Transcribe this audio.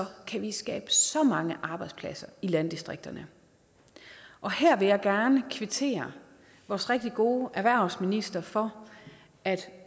kan vi skabe så mange arbejdspladser i landdistrikterne og her vil jeg gerne kvittere vores rigtig gode erhvervsminister for at